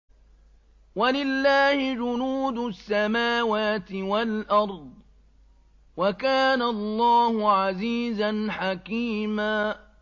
وَلِلَّهِ جُنُودُ السَّمَاوَاتِ وَالْأَرْضِ ۚ وَكَانَ اللَّهُ عَزِيزًا حَكِيمًا